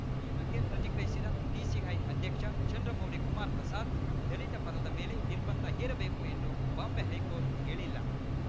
ಈ ಬಗ್ಗೆ ಪ್ರತಿಕ್ರಿಯಿಸಿದ ಪಿಸಿಐ ಅಧ್ಯಕ್ಷ ಚಂದ್ರಮೌಳಿ ಕುಮಾರ್‌ ಪ್ರಸಾದ್‌ ದಲಿತ ಪದದ ಮೇಲೆ ನಿರ್ಬಂಧ ಹೇರಬೇಕು ಎಂದು ಬಾಂಬೆ ಹೈಕೋರ್ಟ್‌ ಹೇಳಿಲ್ಲ